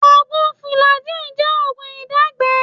Oògùn fùlàjíì jẹ́ oògùn ìdágbẹ́ẹ̀ẹ́